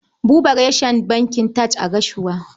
Babu reshen bankin TAJ a Gashua.